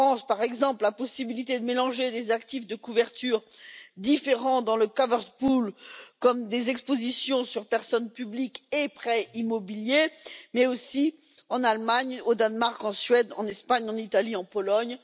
Par exemple, il est possible de mélanger les actifs de couverture différents dans le panier de couverture comme des expositions sur personnes publiques et prêts immobiliers en France, mais aussi en Allemagne, au Danemark, en Suède, en Espagne, en Italie ou en Pologne.